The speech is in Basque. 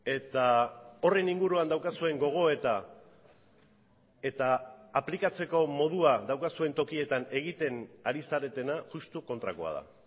eta horren inguruan daukazuen gogoeta eta aplikatzeko modua daukazuen tokietan egiten ari zaretena justu kontrakoa da